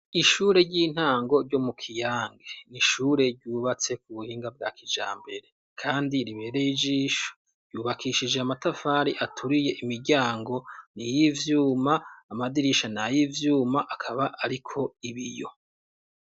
Ishure ry'intango ryo mu kiyange ishure ryubatse ku buhinga bwa kijambere kandi ribereye ijisho yubakishije amatafari aturiye imiryango ni yivyuma amadirisha na y'ivyuma akaba ariko ibiyo.